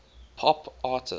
pop artists